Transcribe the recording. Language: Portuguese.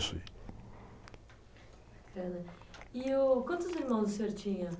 E, uh quantos irmãos o senhor tinha?